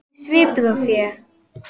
Þessi svipur á þér.